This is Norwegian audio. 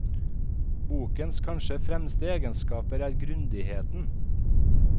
Bokens kanskje fremste egenskap er grundigheten.